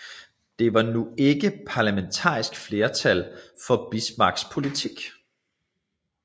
Der var nu ikke parlamentarisk flertal for Bismarcks politik